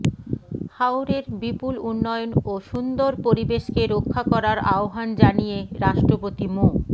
হাওরের বিপুল উন্নয়ন ও সুন্দর পরিবেশকে রক্ষা করার আহ্বান জানিয়ে রাষ্ট্রপতি মো